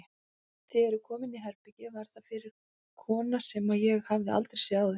Þegar ég kom inní herbergið var þar fyrir kona sem ég hafði aldrei séð áður.